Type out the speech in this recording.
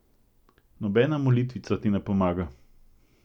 Nobena molitvica ti ne pomaga.